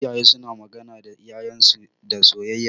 Iyaye suna magana da ƴaƴan su da soyayya.